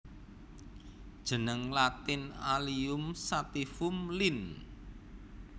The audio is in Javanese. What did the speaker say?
Jeneng Latin Allium sativum Linn